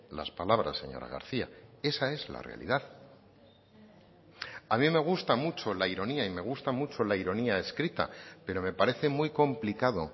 las palabras señora garcía esa es la realidad a mí me gusta mucho la ironía y me gusta mucho la ironía escrita pero me parece muy complicado